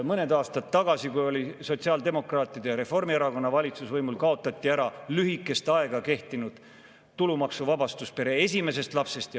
Mõned aastad tagasi, kui võimul oli sotsiaaldemokraatide ja Reformierakonna valitsus, kaotati ära lühikest aega kehtinud tulumaksuvabastus pere esimesest lapsest.